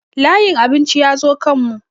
Layin abincin ya zo kan mu